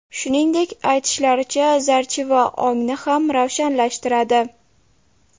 Shuningdek, aytishlaricha zarchiva ongni ham ravshanlashtiradi.